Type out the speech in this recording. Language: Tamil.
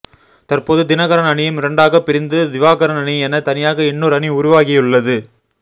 தற்போது தினகரன் அணியும் இரண்டாக பிரிந்து திவாகரன் அணி என தனியாக இன்னொரு அணி உருவாகியுள்ளது